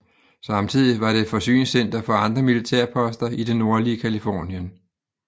Samtidig var det forsyningscenter for andre militærposter i det nordlige Californien